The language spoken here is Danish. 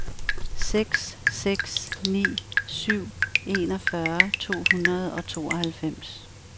seks seks ni syv enogfyrre to hundrede og tooghalvfems